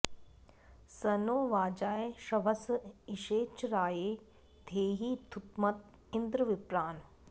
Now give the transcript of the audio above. स नो वाजाय श्रवस इषे च राये धेहि द्युमत इन्द्र विप्रान्